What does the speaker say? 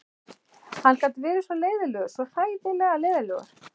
Hann gat verið svo leiðinlegur, svo hræðilega leiðinlegur.